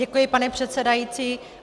Děkuji, pane předsedající.